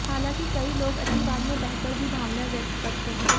हालांकि कई लोग अतिवाद में बहकर भी भावनाएं व्यक्त करते हैं